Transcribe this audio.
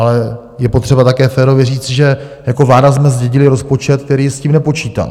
Ale je potřeba také férově říct, že jako vláda jsme zdědili rozpočet, který s tím nepočítal.